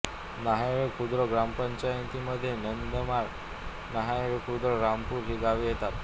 न्याहाळेखुर्द ग्रामपंचायतीमध्ये नंदनमाळ न्याहाळेखुर्द रामपूर ही गावे येतात